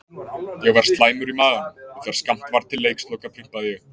Ég var slæmur í maganum og þegar skammt var til leiksloka prumpaði ég.